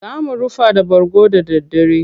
Za mu rufa da bargo da daddare.